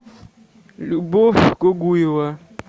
любовь гугуева